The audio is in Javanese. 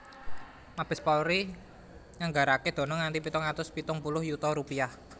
Mabes Polri nganggaraké dana nganti pitung atus pitung puluh yuta rupiah